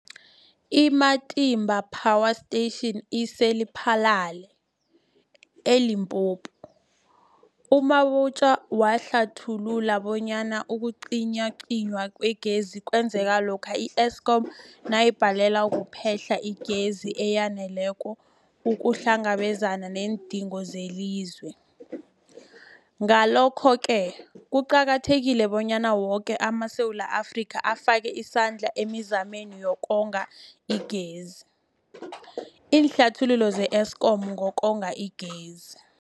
I-Matimba Power Station ise-Lephalale, eLimpopo. U-Mabotja wahlathulula bonyana ukucinywacinywa kwegezi kwenzeka lokha i-Eskom nayibhalelwa kuphe-hla igezi eyaneleko ukuhlangabezana neendingo zelizwe. Ngalokho-ke kuqakathekile bonyana woke amaSewula Afrika afake isandla emizameni yokonga igezi. Iinluleko ze-Eskom ngokonga igezi.